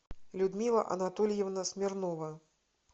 людмила анатольевна смирнова